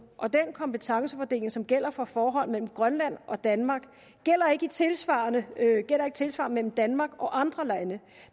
og den kompetencefordeling som gælder for forhold mellem grønland og danmark gælder ikke tilsvarende mellem danmark og andre lande